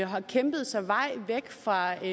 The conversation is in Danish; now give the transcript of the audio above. har kæmpet sig vej væk fra